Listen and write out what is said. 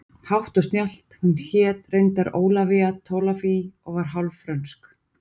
Hátt og snjallt hún hét reyndar Ólafía Tolafie og var hálf frönsk